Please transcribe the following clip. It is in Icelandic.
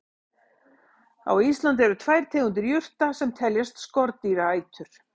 Á Íslandi eru tvær tegundir jurta sem teljast skordýraætur.